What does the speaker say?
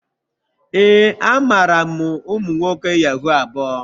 Ee, amaara m umu nwoke yahoo abuo.